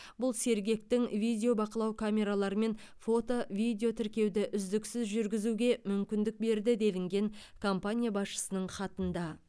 бұл сергектің видеобақылау камераларымен фото видео тіркеуді үздіксіз жүргізуге мүмкіндік берді делінген компания басшысының хатында